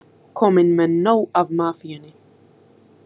Kominn með nóg af mafíunni